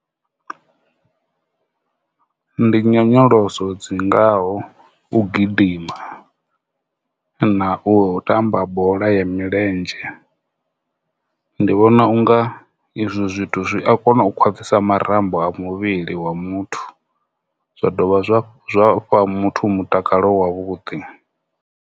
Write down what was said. Ndi nyonyoloso dzi ngaho u gidima na u tamba bola ya milenzhe. Ndi vhona unga izwo zwithu zwi a kona u khwaṱhisa marambo a muvhili wa muthu zwa dovha zwa muthu mutakalo wa vhuḓi.